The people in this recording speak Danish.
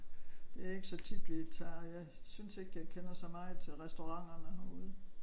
Det er ikke så tit vi tager jeg synes ikke jeg kender så meget til restauranterne herude